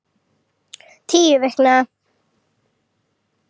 Tíu vikna